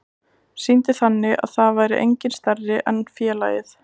Sýndi þannig að það væri enginn stærri en félagið.